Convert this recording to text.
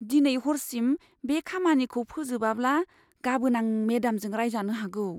दिनै हरसिम बे खामानिखौ फोजोबाब्ला, गाबोन आं मेडामजों रायजानो हागौ।